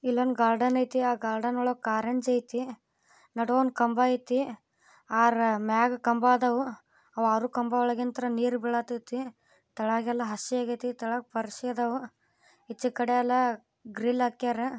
ಇಲ್ಲಿ ಒಂದು ಗಾರ್ಡನ್ ಐತೆ ಆ ಗಾರ್ಡನ್ ವೊಳಗೆ ಕರ್ನಾಚು ಐತೆ ನೋಡೋ ಒಂದು ಕಂಬ ಐತೆ ಮ್ಯಾಗ್ ಕಂಬ ಐತೆ ಆ ಆರು ಕಂಬ ವೊಳಂಗಿಂದ ನೀರು ಬೀಳ್ತತೆ ತಳಗೆಲ್ಲ ಹಸಿಯಾಗಿ ಇದೆ ತಳಗೆ ಪಾರ್ಸಿ ಎದ್ದವು ಈಚೆ ಕಡೆ ಎಲ್ಲಾ ಗ್ರಿಲ್ಲ ಆಕಿದರೆ